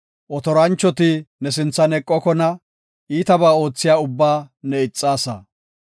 Otoranchoti ne sinthan eqokona; iitabaa oothiya ubbaa ne ixaasa.